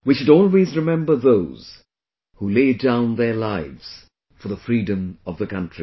We should always remember those who laid down their lives for the freedom of the country